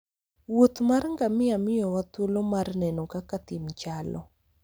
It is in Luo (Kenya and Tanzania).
wuoth mar ngamia miyowa thuolo mar neno kaka thim chalo